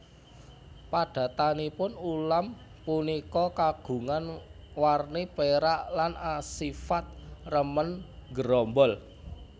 Padatanipun ulam punika kagungan warni pérak lan asifat remen nggerombol